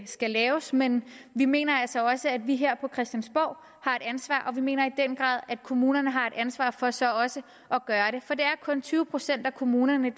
skal laves men vi mener altså også at vi her på christiansborg har et ansvar og vi mener i den grad at kommunerne har et ansvar for så også at gøre det for det er kun tyve procent af kommunerne